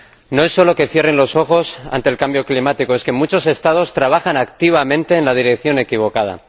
No es solo que cierren los ojos ante el cambio climático, es que muchos Estados trabajan activamente en la dirección equivocada.